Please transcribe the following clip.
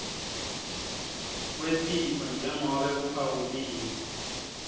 kwesitfo njengobe kuphawuliwe